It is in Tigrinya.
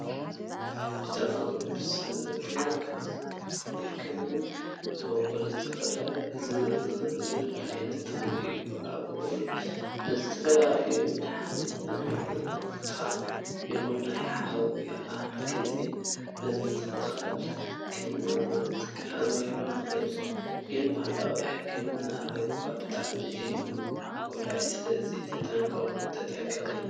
ብተፈጥሮን ብሰብን ክንክን ክበቁል ዝክእል ዓይነት ተክሊ እዩ ። ኣጎል ንዝተፈላለዩ መድሓኒታት ብምዕጣቅ ይኩን ናብ ሓዊ ኣትቲካ ብምትኻኽ ክንጥቀመሉ ንክእል። ግን ባህላዊ ሕክምና እኮ ብጣዕሚ እዩ ጎዳኡ ስለዚ ተጠቀቅ/ቂ!